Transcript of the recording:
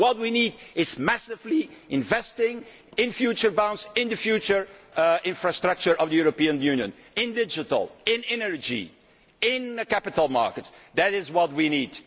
What we need is to invest massively in future bonds, in the future infrastructure of the European Union, in digital, in energy, in the capital markets that is what we need.